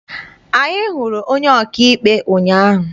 Anyị hụrụ onye ọkaikpe ụnyaahụ.